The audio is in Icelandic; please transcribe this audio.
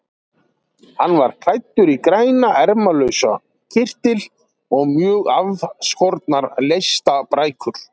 Hann var klæddur í grænan ermalausan kyrtil og mjög aðskornar leistabrækur.